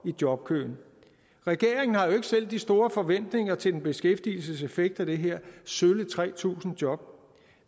i jobkøen regeringen har jo ikke selv de store forventninger til beskæftigelseseffekten af det her sølle tre tusind job